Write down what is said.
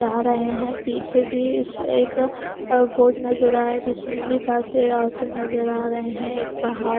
जा रहे हैं पीछे भी इस एक बोर्ड नजर आया जिसमें भी काफी नजर आ रहे हैं एक पहाड़--